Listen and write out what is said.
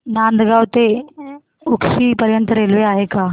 Nandgaon road ते उक्षी पर्यंत railway आहे का